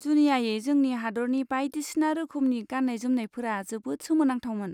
जुनियायै जोंनि हादोरनि बायदिसिना रोखोमनि गान्नाय जोमनायफोरा जोबोद सोमोनांथावमोन।